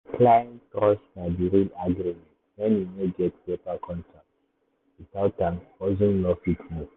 client trust na the real agreement when you no get paper contract. without am hustle no fit move.